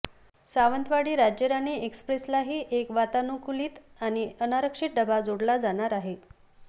सावंतवाडी राज्यराणी एक्स्प्रेसलाही एक वातानुकूलित आणि अनारक्षित डबा जोडला जाणार आहे